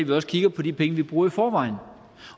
vi også kigger på de penge vi bruger i forvejen